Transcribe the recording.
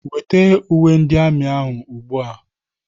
Weta uwe ndị amị ahụ ugbu a!